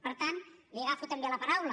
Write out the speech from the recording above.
per tant li agafo també la paraula